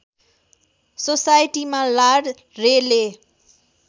सोसाइटीमा लार्ड रेले